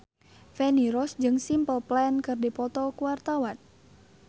Feni Rose jeung Simple Plan keur dipoto ku wartawan